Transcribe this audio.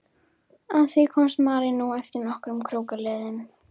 Að því komst María nú eftir nokkrum krókaleiðum.